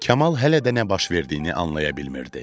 Kamal hələ də nə baş verdiyini anlaya bilmirdi.